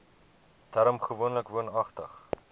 term gewoonlik woonagtig